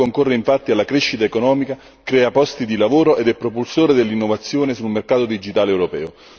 Il settore concorre infatti alla crescita economica, crea posti di lavoro ed è propulsore dell'innovazione sul mercato digitale europeo.